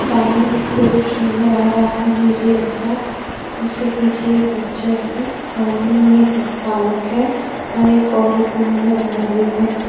सामने एक पुरुष नजर आ रहा है नीले रंग का उसके पीछे एक बच्चा है सामने में एक बालक है और एक औरत भी नजर आ रही है।